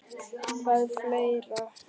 Hvað fleira?